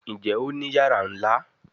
Njé Òní iyàrá nlá?